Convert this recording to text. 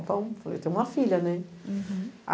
Então, eu falei, tem uma filha, né? Uhum